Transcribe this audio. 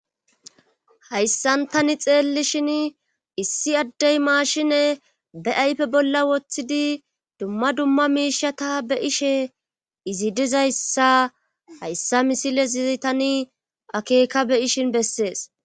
hayssan tani xeelli shin issi addey maashine beaype bolla woththidi dumma dumma miishata be ishe izi dizayssa hayssa misile zizi tani akeeka beyishin bessees